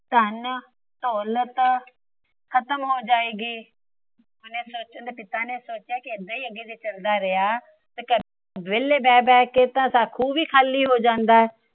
ਧੰਨ, ਦੌਲਤ ਖਤਮ ਹੋ ਜਾਏਗੀ। ਉਹਂਦੇ ਪਿਤਾ ਨੇ ਸੋਚਿਆ ਜੇ ਏਦਾਂ ਹੀ ਅੱਗੇ ਚੱਲਦਾ ਰਿਹਾ ਤਾਂ ਘਰੇ ਵੇਹਲੇ ਬਹਿ ਬਹਿ ਕੇ ਤਾ ਖੂ ਵੀ ਖਾਲੀ ਹੋ ਜਾਂਦਾ ਆ